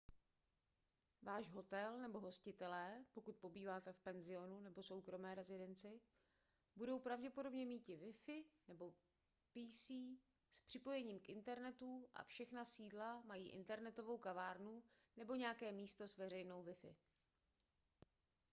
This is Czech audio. váš hotel nebo hostitelé pokud pobýváte v penzionu nebo soukromé rezidenci budou pravděpodobně mít wi-fi nebo pc s připojením k internetu a všechna sídla mají internetovou kavárnu nebo nějaké místo s veřejnou wi-fi